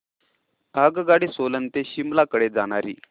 आगगाडी सोलन ते शिमला कडे जाणारी